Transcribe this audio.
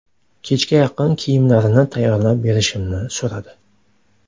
Kechga yaqin kiyimlarini tayyorlab berishimni so‘radi.